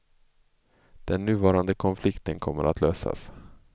Den nuvarande konflikten kommer att lösas.